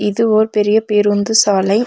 இது ஒர் பெரிய பேருந்து சாலை.